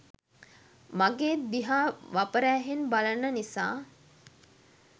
මගේ දිහා වපර ඇහෙන් බලන නිසා